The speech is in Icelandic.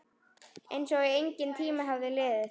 Einsog enginn tími hafi liðið.